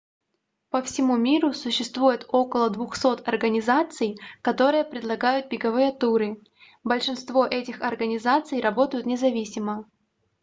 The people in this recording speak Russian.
по всему миру существует около 200 организаций которые предлагают беговые туры большинство этих организаций работают независимо